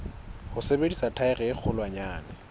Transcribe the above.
ho sebedisa thaere e kgolwanyane